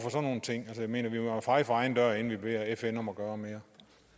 nogle ting jeg mener vi må jo feje for egen dør inden vi beder fn om at gøre mere